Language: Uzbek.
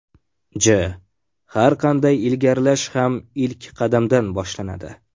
J: Har qanday ilgarilash ham ilk qadamdan boshlanadi.